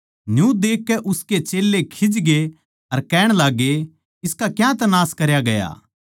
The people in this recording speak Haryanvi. न्यू देखकै उसके चेल्लें खीजकै अर कहण लाग्गे इसका क्यांतै नाश करया गया